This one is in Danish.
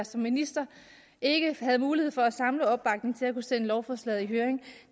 som minister ikke mulighed for at samle opbakning til at kunne sende lovforslaget i høring